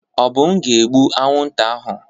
Obum ga-egbu anwụnta ahụ.